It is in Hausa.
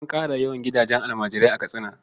An ƙara yawan gidajen almajirai a Katsina.